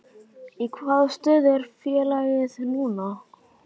Í hvaða stöðu er félagið núna?